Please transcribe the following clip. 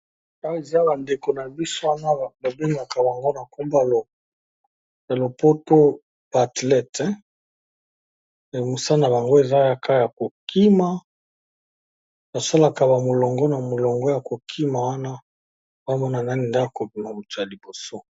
Awa eza bandeko babengaka bango na monoko ya lopoto ba athlètes mosala nabango eza Kaka KO kima basalaka molongo po bakima ba Mona mutu akozala ya liboso.